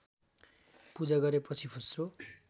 पूजा गरेपछि फुस्रो